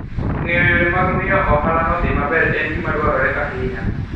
Ng'eyo yore mag miyo ohalano dhi maber en gima dwarore ahinya.